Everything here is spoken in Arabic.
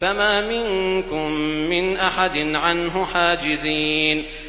فَمَا مِنكُم مِّنْ أَحَدٍ عَنْهُ حَاجِزِينَ